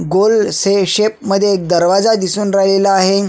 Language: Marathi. गोल से शेप मध्ये एक दरवाजा दिसून राहिलेला आहे.